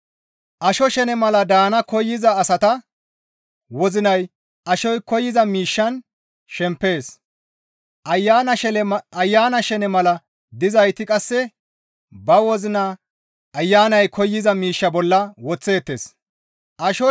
Asho shene mala daana koyza asata wozinay ashoy koyza miishshan shempees; Ayana shene mala dizayti qasse ba wozina Ayanay koyza miishsha bolla woththeettes.